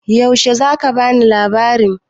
Yaushe za ka bani labarin?